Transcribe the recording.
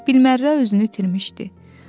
Bilmərrə özünü itirmişdi.